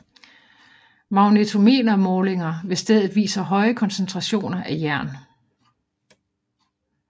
Magnetometer målinger ved stedet viser høje koncentrationer af jern